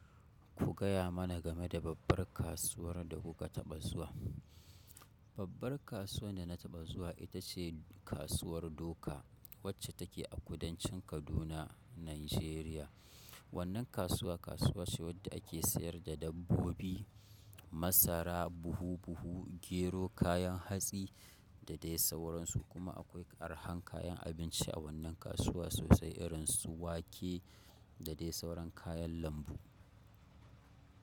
Ku gaya mana game da babbar kasuwar da kuka taɓa zuwa. Babbar kasuwar da na taɓa zuwa ita ce Kasuwar Doka wacce take a kudancin Kaduna, Najeriya. Wannan kasuwa, kasuwa ce wadda ake siyar da dabbobi masara buhu-buhu gero kayan hatsi da dai sauran su kuma akwai ƙarhan kayan abinci a wannan kasuwa sosai irin su wake. Da dai sauran kayan lambu.